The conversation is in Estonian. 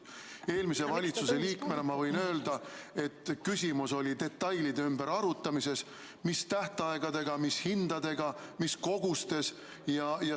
Eelmise valitsuse liikmena ma võin öelda, et küsimus oli detailide üle arutamises: mis tähtaegadega, mis hindadega, mis kogustes.